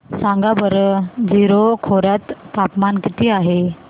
सांगा बरं जीरो खोर्यात तापमान किती आहे